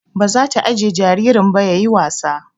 Ba zata ajjiye jaririn ba yayi wasa